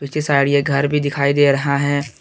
पीछे साइड ये घर भी दिखाई दे रहा है।